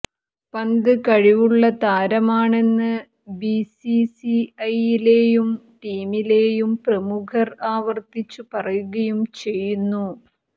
പന്ത് കഴിവുള്ള താരമാണെന്ന് ബിസിസിഐയിലേയും ടീമിലേയും പ്രമുഖര് ആവര്ത്തിച്ചു പറയുകയും ചെയ്യുന്നു